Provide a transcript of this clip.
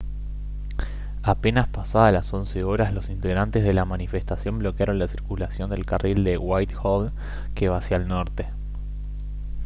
apenas pasadas las 11:00 h los integrantes de la manifestación bloquearon la circulación del carril de whitehall que va hacia el norte